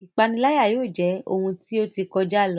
Ipanilaya yóò jẹ ohun ti o ti kọja lo